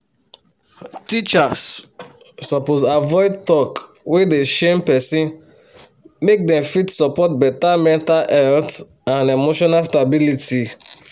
teachers suppose avoid talk wey dey shame person make dem fit support better mental health and emotional stability